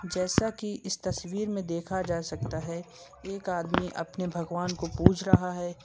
जैसा कि इस तस्वीर में देखा जा सकता है एक आदमी अपने भगवान को पूज रहा है।